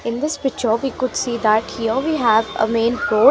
in this picture we could see that here we have a main road .